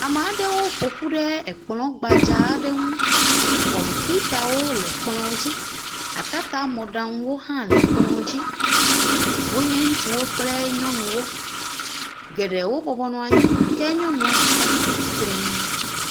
Ame aɖewo ƒoƒu ɖe ekplɔ̃ gbadzaa aɖe ŋu. Kɔmpiutawo le kplɔ̃ dzi. Atatamɔɖaŋuwo hã le kplɔ̃ dzi. Wonye ŋutsuwo kple nyɔnuwo. Geɖewo bɔbɔ nɔ anyi. Ke nyɔnua ɖeka le tsitrenu .